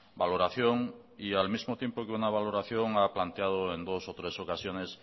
valoración y al mismo tiempo que una valoración ha planteado en dos o tres ocasiones